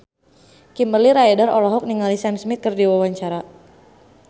Kimberly Ryder olohok ningali Sam Smith keur diwawancara